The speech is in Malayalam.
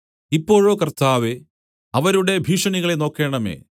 ഇപ്പോഴോ കർത്താവേ അവരുടെ ഭീഷണികളെ നോക്കേണമേ